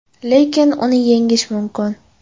Lekin uni yengish mumkin.